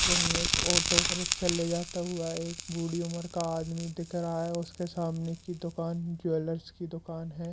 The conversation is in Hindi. वहीं एक ऑटो रिक्शा ले जाता हुआ है बूढ़ी उम्र का आदमी दिख रहा है और उसके सामने की दुकान ज्वेलर्स की दुकान है।